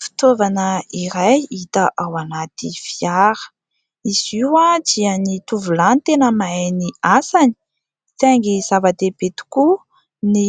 Fitaovana iray hita ao anaty fiara, izy io dia ny tovolahy no tena mahay ny asany saingy zava-dehibe tokoa ny